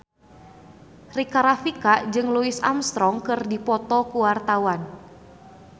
Rika Rafika jeung Louis Armstrong keur dipoto ku wartawan